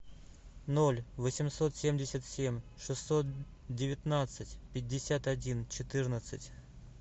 ноль восемьсот семьдесят семь шестьсот девятнадцать пятьдесят один четырнадцать